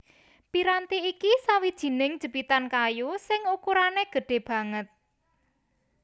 Piranti iki sawijining jepitan kayu sing ukurané gedhé banget